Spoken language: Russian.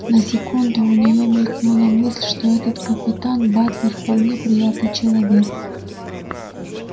на секунду у нее мелькнула мысль что этот капитан батлер вполне приятный человек